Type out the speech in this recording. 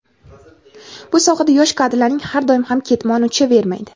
bu sohada yosh kadrlarning har doim ham "ketmoni uchavermaydi".